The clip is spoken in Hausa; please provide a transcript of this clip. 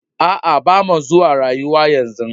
Aa, ba mua zuwa rayu yanzu.